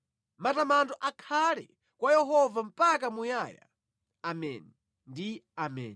“Matamando akhale kwa Yehova mpaka muyaya!” Ameni ndi Ameni.